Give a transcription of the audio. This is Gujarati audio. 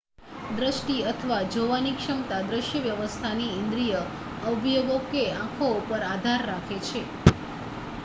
દ્રષ્ટિ અથવા જોવાની ક્ષમતા દ્રશ્ય વ્યવસ્થાની ઇન્દ્રીય અવયવો કે આંખો ઉપર આધાર રાખે છે